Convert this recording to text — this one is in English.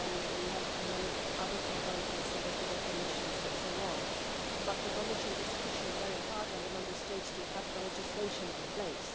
We have many other problems with definitions and so on, but the Commission is pushing very hard on the Member States to have the legislation in place.